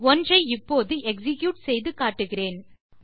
ஒன்றை இப்போது எக்ஸிக்யூட் செய்து காட்டுகிறேன்